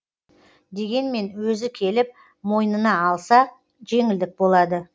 дегенмен өзі келіп мойнына алса жеңілдік болады